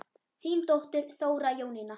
Þín dóttir, Þóra Jónína.